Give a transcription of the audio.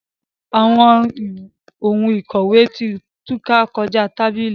Awọn òun ikọwe ti túká kọja tábìlì.